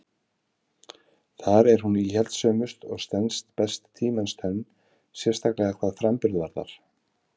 Þar er hún íhaldssömust og stenst best tímans tönn, sérstaklega hvað framburð varðar.